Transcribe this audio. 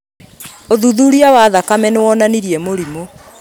ũthuthuria wa thakame nĩwonanirie mũrimũ